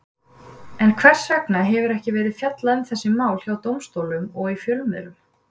En hvers vegna hefur ekki verið fjallað um þessi mál hjá dómstólum og í fjölmiðlum?